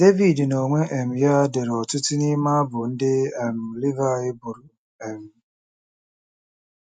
Devid n'onwe um ya dere ọtụtụ n'ime abụ ndị um Livaị bụrụ. um